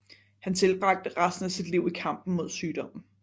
Han tilbragte resten af sit liv i kampen mod sygdommen